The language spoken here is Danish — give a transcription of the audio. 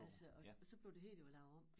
Altså og så blev det hele jo lavet om